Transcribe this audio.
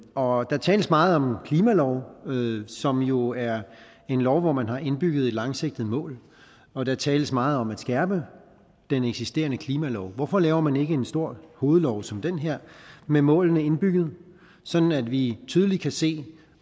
og der tales meget om klimalov som jo er en lov hvor man har indbygget et langsigtet mål og der tales meget om at skærpe den eksisterende klimalov hvorfor laver man ikke en stor hovedlov som den her med målene indbygget sådan at vi tydeligt kan se